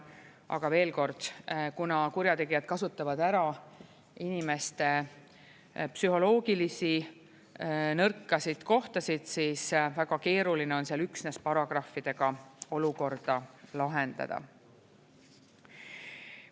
Aga veel kord: kuna kurjategijad kasutavad ära inimeste psühholoogilisi nõrkasid kohtasid, siis väga keeruline on seal üksnes paragrahvidega olukorda lahendada.